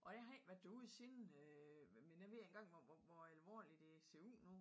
Og jeg har ikke været derude siden jeg øh men jeg ved ikke engang hvor hvor hvor alvorligt det ser ud nu